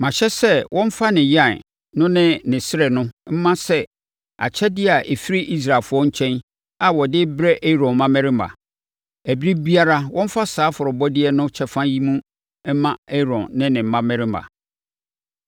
Mahyɛ sɛ wɔmfa ne yan no ne ne srɛ no mma sɛ akyɛdeɛ a ɛfiri Israelfoɔ nkyɛn a wɔde rebrɛ Aaron mmammarima. Ɛberɛ biara, wɔmfa saa afɔrebɔdeɛ no kyɛfa yi no mma Aaron ne ne mmammarima.”